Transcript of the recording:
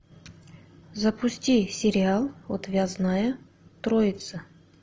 запусти сериал отвязная троица